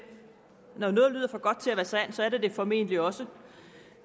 når noget lyder for godt til at være sandt så er det det formentlig også